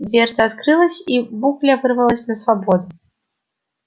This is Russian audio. дверца открылась и букля вырвалась на свободу